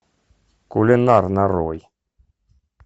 кулинар нарой